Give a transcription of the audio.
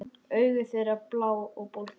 Augu þeirra blá og bólgin.